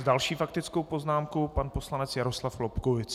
S další faktickou poznámkou pan poslanec Jaroslav Lobkowicz.